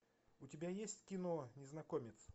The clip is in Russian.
у тебя есть кино незнакомец